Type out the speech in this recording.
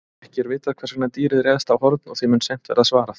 Ekki er vitað hvers vegna dýrið réðst á Horn og því mun seint verða svarað.